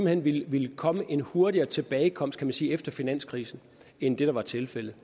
hen ville komme en hurtigere tilbagekomst kan man sige efter finanskrisen end det der var tilfældet